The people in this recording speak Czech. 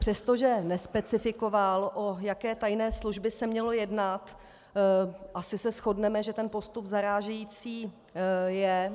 Přestože nespecifikoval, o jaké tajné služby se mělo jednat, asi se shodneme, že ten postup zarážející je.